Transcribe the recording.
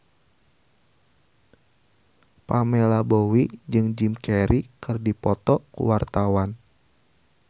Pamela Bowie jeung Jim Carey keur dipoto ku wartawan